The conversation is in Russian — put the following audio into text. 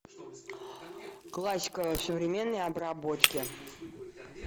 классика в современной обработке